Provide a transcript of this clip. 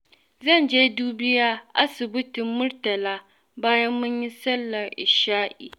Zan je dubiya asibitin Murtala bayan mun yi sallar isha'i.